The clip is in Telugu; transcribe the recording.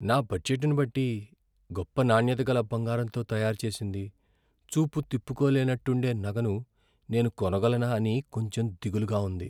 నా బడ్జెట్ని బట్టి, గొప్ప నాణ్యత గల బంగారంతో తయారు చేసింది, చూపు తిప్పుకోలేనట్టుండే నగను నేను కొనగలనా అని కొంచెం దిగులుగా ఉంది.